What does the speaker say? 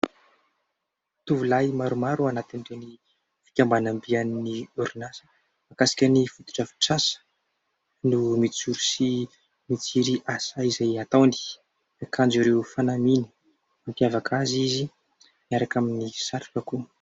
Tovolahy maromaro anatin'ireny fikambanam-be an'ny orinasa. Mikasika ny foto-drafitrasa no mijoro sy mijery asa izay ataony. Miakanjo ireo fanamiana mampiavaka azy izy, miaraka amin'ny satroka koa.